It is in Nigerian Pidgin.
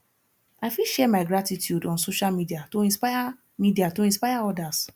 i fit share my gratitude on social media to inspire media to inspire others